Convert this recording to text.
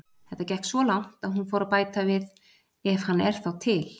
Þetta gekk svo langt að hún fór að bæta við: Ef hann er þá til.